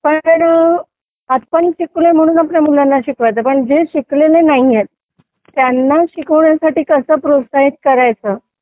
पण पण आपण शिकलो म्हणून आपल्या मुलांना शिकायचं पण जे शिकलेले नाहीत त्यांना शिकवण्यासाठी कसं प्रोत्साहित करायचं